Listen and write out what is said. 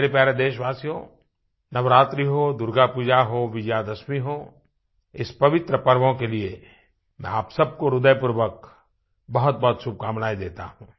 मेरे प्यारे देशवासियो नवरात्रि हो दुर्गापूजा हो विजयादशमी हो इस पवित्र पर्वों के लिए मैं आप सब को हृदयपूर्वक बहुतबहुत शुभकामनाएं देता हूँ